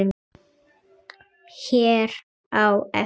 hér á eftir.